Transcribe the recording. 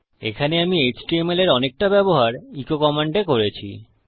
এখানে আমি এইচটিএমএল এর অনেকটা ব্যবহার এচো কমান্ডে করেছি